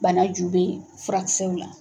Bana ju bɛ furakisɛw la.